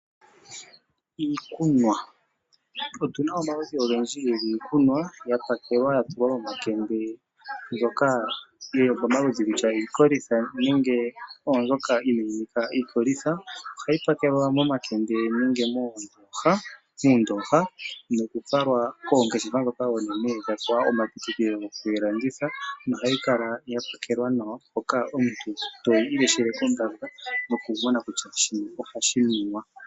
Iikunwa Otu na omaludhi ogendji giikunwa ya pakelwa ya tulwa momakende mbyoka yi li pamaludhi kutya iikolitha nenge oombyoka inaayi nika iikolitha. Ohayi pakelwa momakende nenge muundooha nokufalwa koongeshefa oonene dha pewa omapitikilo goku yi landitha, nohayi kala ya pakelwa nawa hoka omuntu toyi ileshele kombanda nokumona kutya shini po hashi nuwa.